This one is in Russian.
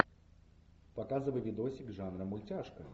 показывай видосик жанра мультяшка